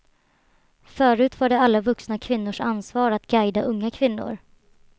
Förut var det alla vuxna kvinnors ansvar att guida unga kvinnor.